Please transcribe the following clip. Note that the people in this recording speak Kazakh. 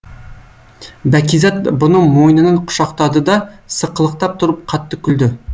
бәкизат бұны мойнынан құшақтады да сықылықтап тұрып қатты күлді